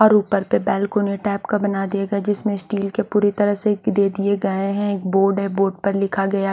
और ऊपर पे बेलकनी टाइप का बना दिया गया जिसमे स्टील के पूरी तरह से दे दिए गए है एक बोर्ड है बोर्ड पे लिखा गया--